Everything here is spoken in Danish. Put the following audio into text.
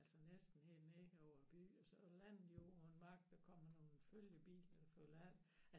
Altså næsten helt nede over by og så lander de jo på en mark der kommer nogle følgebiler der følger ind